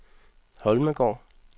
Holmegaard